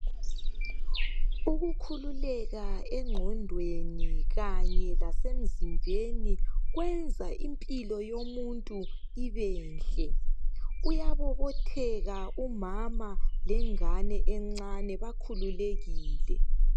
Ukukhululeka engqondweni kanye lasemzimbeni kwenza impilo yoluntu ibenhle .Uyabobotheka umama lengane encane bakhululekile.